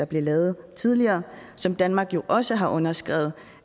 blev lavet tidligere og som danmark jo også har underskrevet